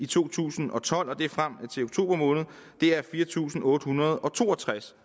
to tusind og tolv frem til oktober måned er der fire tusind otte hundrede og to og tres